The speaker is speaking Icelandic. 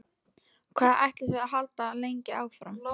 Hvað ætlið þið að halda lengi áfram?